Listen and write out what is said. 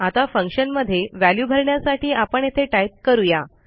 आता फंक्शनमध्ये वॅल्यू भरण्यासाठी आपण येथे टाईप करूया